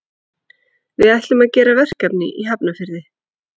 Við ætlum að gera verkefni í Hafnarfirði.